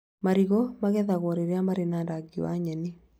Marigũ magethagwo rĩrĩa mari na rangi wa nyeni